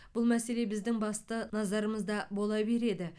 бұл мәселе біздің басты назарымызда бола береді